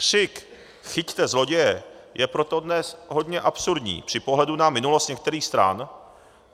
Křik chyťte zloděje je proto dnes hodně absurdní při pohledu na minulost některých stran.